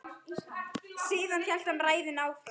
Síðan hélt hann ræðunni áfram